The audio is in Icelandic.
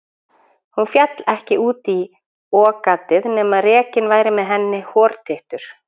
Hún féll ekki út í okagatið nema rekinn væri með henni hortittur.